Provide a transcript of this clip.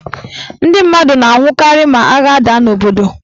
Ndị mmadụ na-anwụkarị ma agha daa n' obodo.